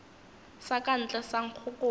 sa ka ntle sa nkgokolo